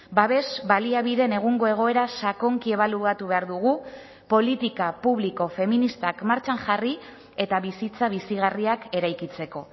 babes baliabideen egungo egoera sakonki ebaluatu behar dugu politika publiko feministak martxan jarri eta bizitza bizigarriak eraikitzeko